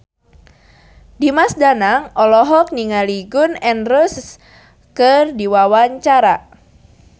Dimas Danang olohok ningali Gun N Roses keur diwawancara